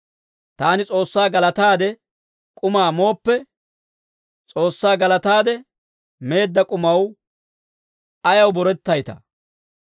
Taani S'oossaa galataade k'umaa mooppe, S'oossaa galataade meedda k'umaw ayaw borettaytaa?